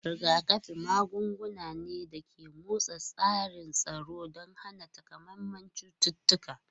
Rigakafi magunguna ne da ke motsa tsarin tsaro don hana takamaiman cututtuka.